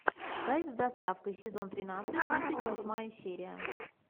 кайф с доставкой сезон тринадцать тридцать восьмая серия